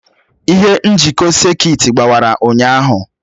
Ihe njikọ sekit gbawara ụnyaahụ.